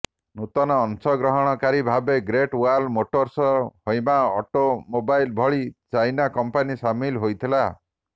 ନୂତନ ଅଂଶଗ୍ରହଣକାରୀ ଭାବେ Great Wall Motors Haima automobile ଭଳି ଚାଇନା କଂପାନୀ ସାମିଲ୍ ହୋଇଥିଲେ